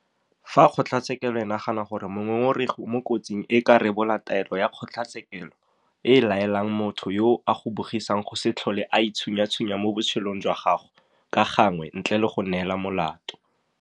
Fa kgotlatshekelo e nagana gore mongongoregi o mo kotsing e ka rebola taelo ya kgotlatshekelo e e laelang motho yo a go bogisang go se tlhole a itshunyatshunya mo botshelong jwa gago ka gangwe ntle le go neela molato